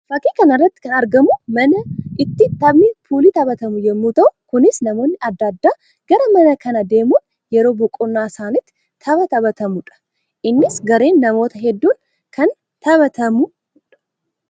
Fakkii kana irratti kan argamu mana itti taphni puulii taphatamu yammuu ta'u; kunis namoonni addaa addaa gara mana kanaa deemuun yeroo boqonnaa isaaniitti tapha taphatamuu dha. Innis gareen namoota hedduun kan taphatamuu dha.